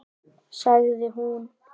Sagði hún.